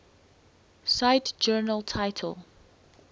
cite journal title